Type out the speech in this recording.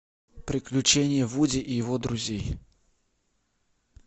приключения вуди и его друзей